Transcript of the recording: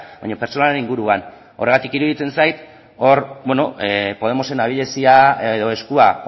baina pertsonalaren inguruan horregatik iruditzen zait podemosen abilezia edo eskua